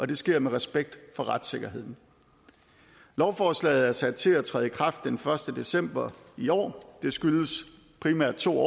det sker med respekt for retssikkerheden lovforslaget er sat til at træde i kraft den første december i år det skyldes primært to